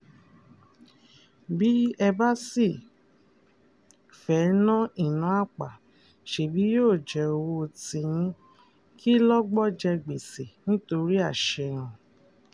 bí ẹ bá sì fẹ́ẹ́ ná ìná àpà ṣebí yóò jẹ́ owó tiyín kí lọ́gbọ́ jẹ gbèsè nítorí àṣehàn